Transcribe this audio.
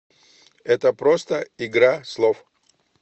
это просто игра слов